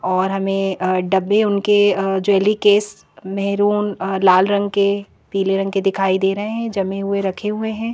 और हमें अ डब्बे उनके अ ज्वेलरी केस मैरून लाल रंग के पीले रंग के दिखाई दे रहे हैं जमे हुए रखे हुए हैं।